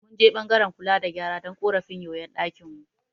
Mun je ɓangaren kula da gyara don ƙorafin yoyon ɗakin mu.